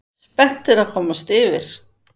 Spenntir að komast yfir